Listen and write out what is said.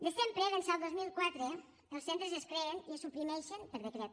de sempre d’ençà del dos mil quatre els centres es creen i es suprimeixen per decret